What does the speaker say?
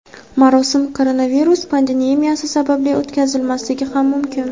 Marosim koronavirus pandemiyasi sababli o‘tkazilmasligi ham mumkin.